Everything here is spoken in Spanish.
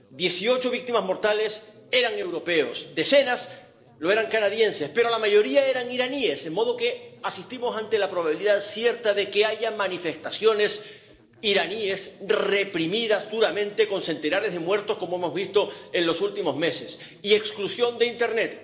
Dieciocho víctimas mortales eran europeos, decenas eran canadienses, pero la mayoría eran iraníes, de modo que estamos ante la probabilidad cierta de que haya manifestaciones iraníes reprimidas duramente con centenares de muertos, como hemos visto en los últimos meses, y exclusión de internet.